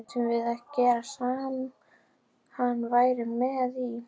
Mættum við ekkert gera sem hann væri ekki með í?